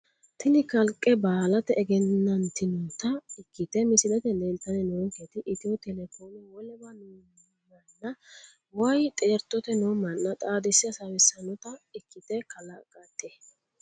Tini kaliqe baalate egenantinota ikite misilete leeltani noonketi etyo telecome wolewa noomana woyi xeertote noo mana xaadise hasawisanota ikite kalaqete.